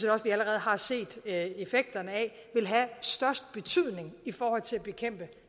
også vi allerede har set effekterne af vil have størst betydning i forhold til at bekæmpe